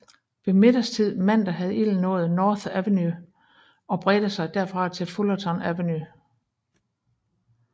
Ved middagstid mandag havde ilden nået North Avenue og bredte sig derfra til Fullerton Avenue